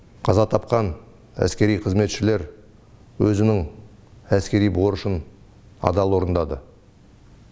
қаза тапқан әскери қызметшілер өзінің әскери борышын адал орындады